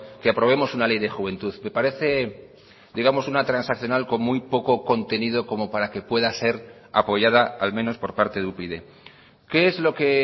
que aprobemos una ley de juventud me parece digamos una transaccional con muy poco contenido como para que pueda ser apoyada al menos por parte de upyd qué es lo que